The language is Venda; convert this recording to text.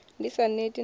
ni sa neti na u